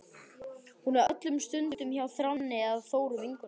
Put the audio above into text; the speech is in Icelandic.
Hún er öllum stundum hjá Þráni eða Þóru vinkonu sinni.